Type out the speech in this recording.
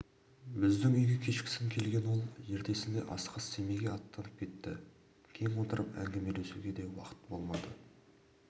біздің үйге кешкісін келген ол ертесінде асығыс семейге аттанып кетті кең отырып әңгімелесуге де уақыт болмады